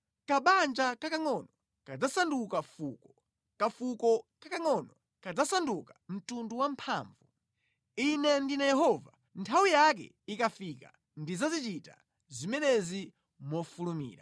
Kabanja kakangʼono kadzasanduka fuko, kafuko kakangʼono kudzasanduka mtundu wamphamvu. Ine ndine Yehova, nthawi yake ikafika ndidzazichita zimenezi mofulumira.”